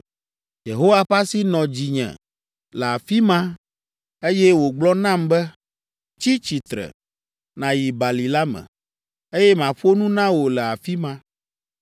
Yehowa ƒe asi nɔ dzinye le afi ma, eye wògblɔ nam be, “Tsi tsitre, nàyi bali la me, eye maƒo nu na wò le afi ma.”